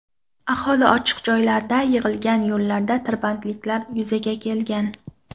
Aholi ochiq joylarda yig‘ilgan, yo‘llarda tirbandliklar yuzaga kelgan.